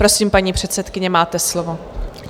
Prosím, paní předsedkyně, máte slovo.